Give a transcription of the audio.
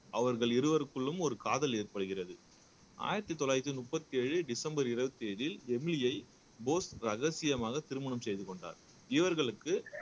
அவர்கள் இருவருக்குள்ளும் ஒரு காதல் ஏற்படுகிறது ஆயிரத்தி தொள்ளாயிரத்தி முப்பத்தி ஏழு டிசம்பர் இருபத்தி ஏழில் எமிலியை போஸ் ரகசியமாக திருமணம் செய்து கொண்டார் இவர்களுக்கு